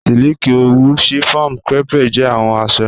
Silikì, owù, chiffon, crêpe jẹ awọn aṣọ